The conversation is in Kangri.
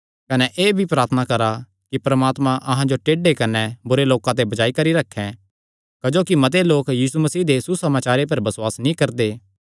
कने एह़ भी प्रार्थना करा कि परमात्मा अहां जो टेढे कने बुरे लोकां ते बचाई करी रखैं क्जोकि मते लोक यीशु मसीह दे सुसमाचारे पर बसुआस नीं करदे